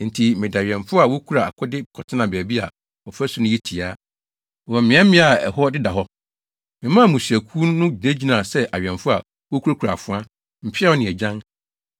Enti mede awɛmfo a wokura akode kɔtenaa baabi a ɔfasu no yɛ tia, wɔ mmeaemmeae a ɛhɔ deda hɔ. Memaa mmusuakuw no gyinagyinaa sɛ awɛmfo a, wokurakura afoa, mpeaw ne agyan.